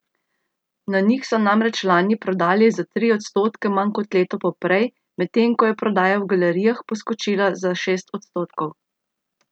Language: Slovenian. Na njih so namreč lani prodali za tri odstotke manj kot leto poprej, medtem ko je prodaja v galerijah poskočila za šest odstotkov.